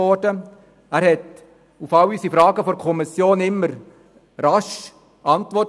er wusste auf alle Fragen der Kommission stets rasch Antwort.